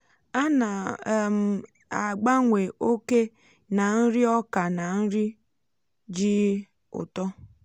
ana um m agbanwe oke nà nri ọka na nri ji um ụtọ.